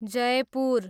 Jaipur